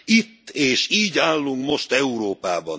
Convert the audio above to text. Itt és így állunk most Európában.